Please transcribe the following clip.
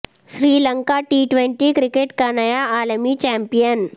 سری Lanka T twenty cricket کا نیا عالمی چیمپیئن